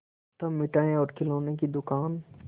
तब मिठाई और खिलौने की दुकान